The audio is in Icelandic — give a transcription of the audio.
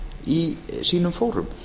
í sínum fórum